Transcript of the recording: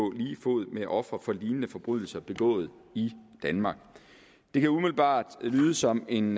lige fod med ofre for lignende forbrydelser begået i danmark det kan umiddelbart lyde som en